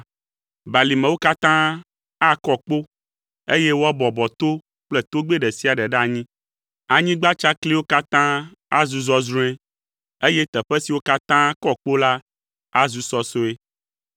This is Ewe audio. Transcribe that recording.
Balimewo katã akɔ kpo, eye woabɔbɔ to kple togbɛ ɖe sia ɖe ɖe anyi; anyigba tsakliwo katã azu zɔzrɔ̃e, eye teƒe siwo katã kɔ kpo la azu sɔsɔe.